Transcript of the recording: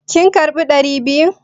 Kin karbi ɗari biyu?